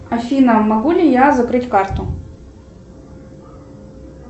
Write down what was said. афина могу ли я закрыть карту